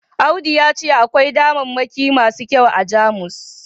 audu ya ce akwai damammaki masu kyau a Jamus